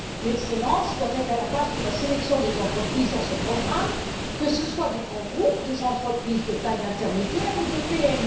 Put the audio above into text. L'excellence doit être à la base de la sélection des entreprises dans ce programme, que ce soit des grands groupes, des entreprises de taille intermédiaire ou des PME.